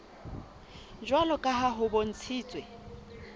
jwalo ka ha ho bontshitswe